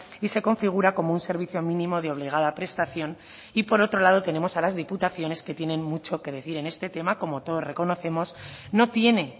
y se configura como un servicio mínimo de obligada prestación y por otro lado tenemos a las diputaciones que tienen mucho que decir en este tema como todos reconocemos no tiene